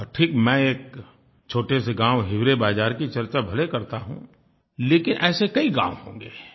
ठीक है मैं एक छोटे से गाँव हिवरे बाज़ार की चर्चा भले करता हूँ लेकिन ऐसे कई गाँव होंगे